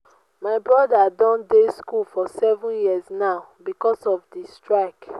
my broda don dey school for seven years now because of the strike